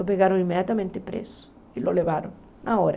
O pegaram imediatamente preso e o levaram na hora.